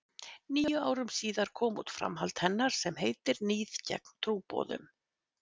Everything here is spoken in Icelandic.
Níu árum síðar kom út framhald hennar sem heitir Níð gegn trúboðum.